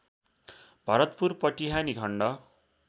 भरतपुर पटिहानि खण्ड